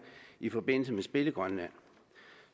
i forbindelse med spil i grønland